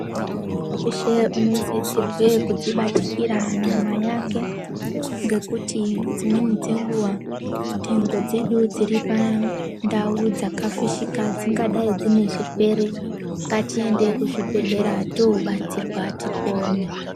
Muntu weshe unosisirwe kudzibatikira nyama yake ngekuti dzimweni dzenguva ndengo dzedu dziripandau dzakafishika dzingadayi dzine zvirwere. Ngatiende kuzvibhehlera toobatsirwa tipone.